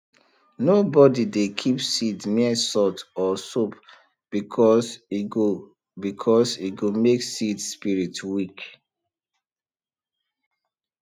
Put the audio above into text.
nobody dey keep seed near salt or soap because e go because e go make seed spirit weak